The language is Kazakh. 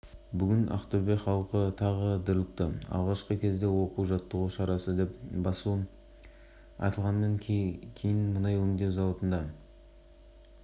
ақтөбе мұнай өңдеу зауытында арнайы операция өтті бүгін таңертең мен арнайы жасақ разъездегі зауыттың кеңсесін өндіріс аймағын басып кірді деп хабарлайды